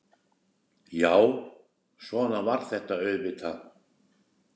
Já, svona var þetta auðvitað.